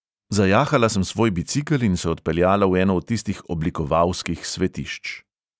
Zajahala sem svoj bicikel in se odpeljala v eno od tistih oblikovalskih svetišč.